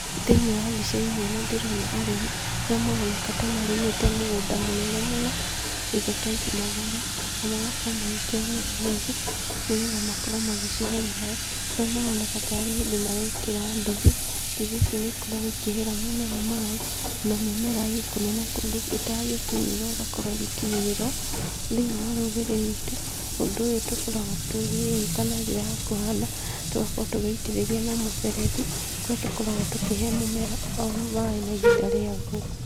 Thĩiniĩ wa mbica-inĩ ĩno ndĩrona arĩmi arĩa maroneka ta marĩmĩte mũgũnda mũnene mũno, indo ta ici-matharũ na magakorwo magĩkĩra mĩberethi, nĩgetha makorwo magĩcihe maaĩ, kũrĩa maroneka ta arĩ hĩndĩ marekĩra nduthi. Nduthi ici nĩ ikoragwo ikĩhera mĩmera maaĩ na mĩmera ĩ kũnene kũndũ ĩtangĩkinyĩrwo ĩgakorwo ĩgĩkinyĩrĩrwo.Thĩiniĩ wa rũrĩrĩ rwitũ, ũndũ ũyũ tũkoragwo tũgĩwĩka na njĩra ya kũhanda, tũgakorwo tũgĩitĩrĩria na mũberethi kũrĩa tũkoragwo tũkĩhe mũmera o maaĩ na ihinda rĩagwo.